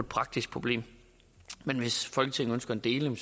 praktisk problem men hvis folketinget ønsker en deling